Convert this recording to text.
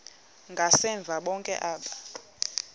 ngasemva bonke aba